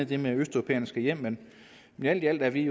det med at østeuropæerne skal hjem men alt i alt er vi